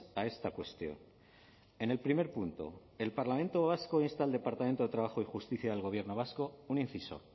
a esta cuestión en el primer punto el parlamento vasco insta al departamento de trabajo y justicia del gobierno vasco un inciso